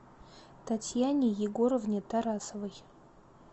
татьяне егоровне тарасовой